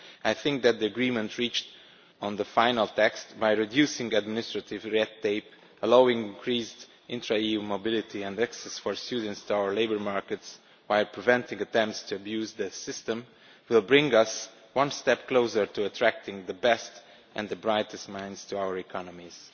I think that the agreement reached on the final text, by reducing administrative red tape and allowing increased intra-EU mobility and access for students to our labour markets by preventing attempts to abuse that system, will bring us one step closer to attracting the best and brightest minds to our economies.